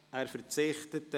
– Er verzichtet.